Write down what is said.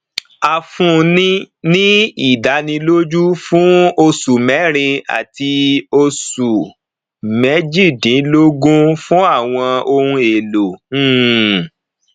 a fúnni ní ìdánilójú fún oṣù mẹrìn àti oṣù méjìdínlógún fún àwọn ohun èlò um